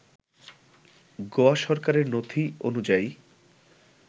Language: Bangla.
গোয়া সরকারের নথি অনুযায়ী